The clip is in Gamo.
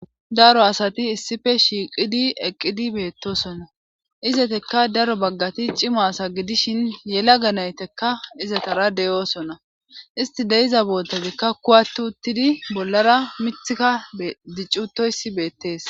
daro asati issife shiiqidi eqqidi beettosona izetekka daro baggati cima asa gidishin yela ganaytekka izetara deyoosona isti deiza bootazikka kuwattu uttidi bollara mithika diccutoyssi beettees